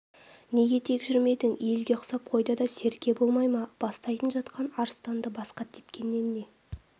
неге тек жүрмедің елге ұқсап қойда да серке болмай ма бастайтын жатқан арыстанды басқа тепкеннен не